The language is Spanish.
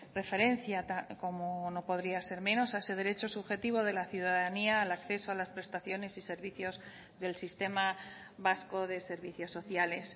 referencia como no podría ser menos a ese derecho subjetivo de la ciudadanía al acceso a las prestaciones y servicios del sistema vasco de servicios sociales